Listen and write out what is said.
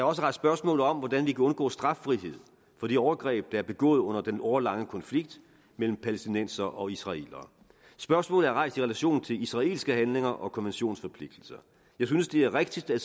også rejst spørgsmålet om hvordan vi kan undgå straffrihed for de overgreb der er begået under den årelange konflikt mellem palæstinensere og israelere spørgsmålet er rejst i relation til israelske handlinger og konventionsforpligtelser jeg synes det er rigtigt at